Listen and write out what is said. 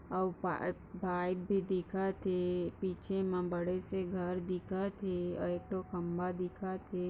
औ पा गाय ते दिखत है। पीछे मा बड़े से घर दिखत है ऐ तो खंबा दिखत है।